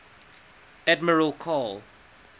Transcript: admiral karl